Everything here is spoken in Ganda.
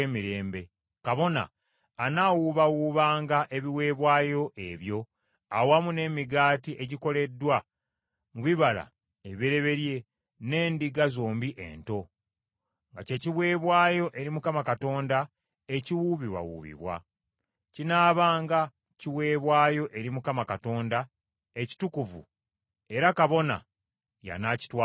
Kabona anaawubawuubanga ebiweebwayo ebyo awamu n’emigaati egikoleddwa mu bibala ebibereberye n’endiga zombi ento, nga kye kiweebwayo eri Mukama Katonda ekiwuubibwawuubibwa. Kinaabanga kiweebwayo eri Mukama Katonda ekitukuvu, era kabona y’anaakitwalanga.